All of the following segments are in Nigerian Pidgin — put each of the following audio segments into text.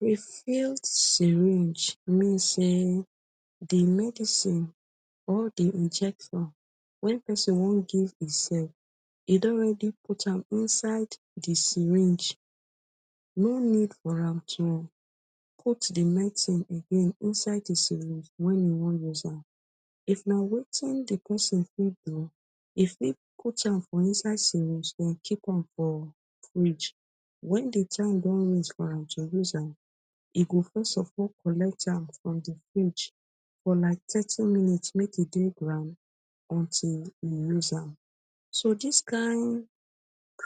Re-fill syringe mean sey the medicine, all the injection when pesin wan give imself, e don already put am inside the syringe. No need for am to put the medicine again inside the syringe when you wan use am. If na wetin the pesin fit do, e fit put am for inside syringe den keep am for fridge. When the time don reach for am to use am, e go first of all collect am from the fridge. For like thirty minutes make e dey ground until you use am. So dis kind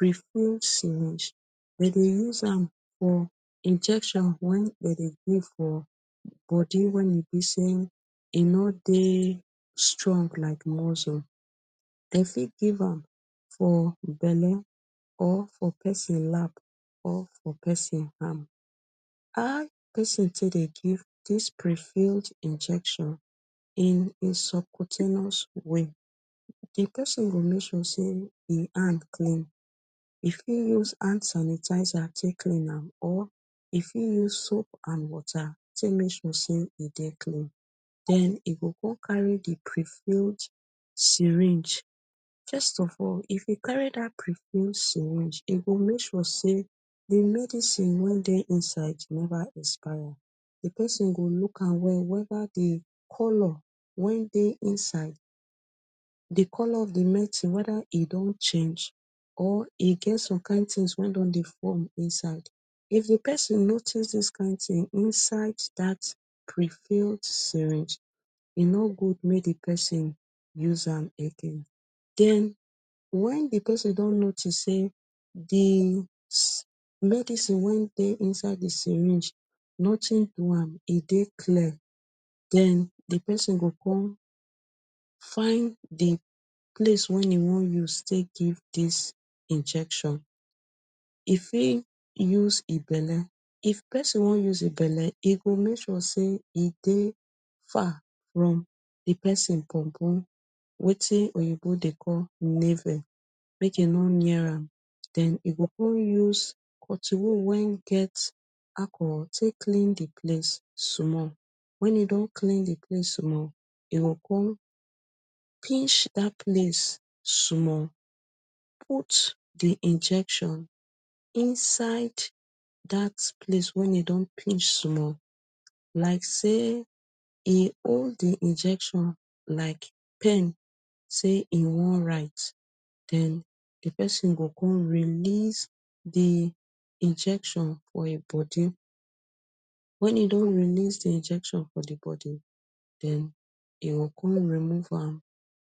re-fill syringe, de dey use am for injection wey de dey give for body when e be sey e no dey strong like muscle. De fit give am for belle or for pesin lap or for pesin hand. How pesin take dey give dis refill injection in in subcutaneous way? The pesin go make sure sey e hand clean. E fit use hand sanitizer take clean am or e fit use soap and water take make sure sey e dey clean. Den e go con carry the refilled syringe. First of all, if e carry dat refill syringe, e go make sure sey, the medicine wey dey inside never expire. The pesin go look am well weda the colour wey dey inside the colour of the medicine weda e don change or e get some kind things wey don dey form inside. If the pesin notice dis kind thing inside dat refill syringe, e no good make the person use am again Den, when the pesin don notice sey, the medicine wey dey inside the syringe nothing do am, e dey clear. Den the pesin go con find the place when e wan use take give dis injection. E fit use e belle. If pesin wan use e belle, e go make sure sey e dey far from the pesin bonbon, wetin Oyinbo dey call navel. Make e no near am. Den e go con use cottonwool wen get alcohol take clean the place small. When e don clean the place small, you go con pinch dat place small, put the injection inside dat place wey you don pinch small like sey e hold the injection like pen sey e wan write. Den, the pesin go con release the injection for im body. When e don release the injection for the body, den e go con remove am.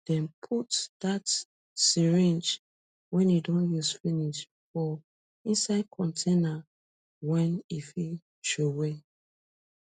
Den put dat syringe when e don use finish for inside container when e fit throw away